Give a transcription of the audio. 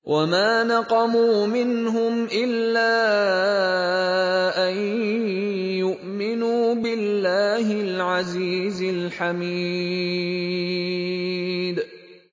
وَمَا نَقَمُوا مِنْهُمْ إِلَّا أَن يُؤْمِنُوا بِاللَّهِ الْعَزِيزِ الْحَمِيدِ